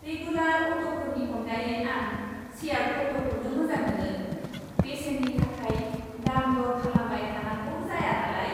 Regular अट'फोरनि अनगायै, आं शेयार्ड अट'खौनो मोजां मोनो, बेसेननि थाखाय दाम दर खालामबाय थानांगौ जाया नालाय।